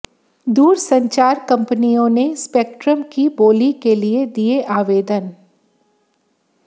दूरसंचार कंपनियों ने स्पेक्ट्रम की बोली के लिए दिये आवेदन